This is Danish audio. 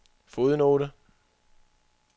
fodnote